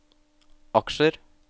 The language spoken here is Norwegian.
aksjer